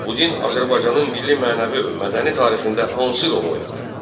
Bu din Azərbaycanın milli mənəvi və mədəni tarixində hansı rol oynadı?